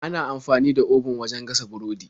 Ana amfani da obun wajen gasa burodi.